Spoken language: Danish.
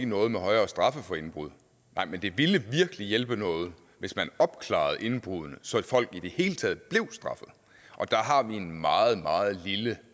noget med højere straffe for indbrud nej men det ville virkelig hjælpe noget hvis man opklarede indbruddene så folk i det hele taget blev straffet og der har vi en meget meget lille